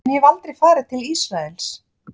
En ég hef aldrei farið til Ísraels.